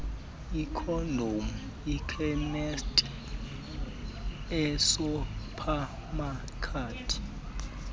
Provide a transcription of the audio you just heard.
iikhondom ekhemisti esuphamakethi